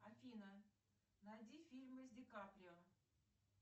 афина найди фильмы с ди каприо